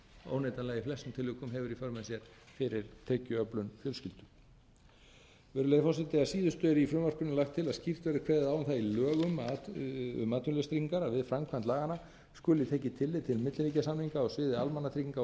óneitanlega í flestum tilvikum hefur í för með sér fyrir tekjuöflun fjölskyldu virðulegi forseti að síðustu er í frumvarpinu lagt til að skýrt verði kveðið á um það í lögum um atvinnuleysistryggingar að við framkvæmd laganna skuli tekið tillit til milliríkjasamninga á sviði almannatrygginga og